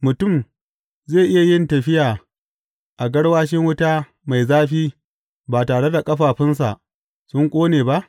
Mutum zai iya yin tafi a garwashi wuta mai zafi ba tare da ƙafafunsa sun ƙone ba?